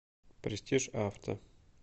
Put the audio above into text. престиж авто